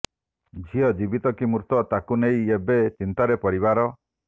ଝିଅ ଜୀବିତ କି ମୃତ ତାକୁ ନେଇ ଏବେ ଚିନ୍ତାରେ ପରିବାର